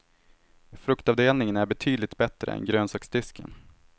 Fruktavdelningen är betydligt bättre än grönsaksdisken.